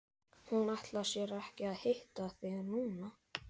Hún ætlar sér ekki að hitta þig núna.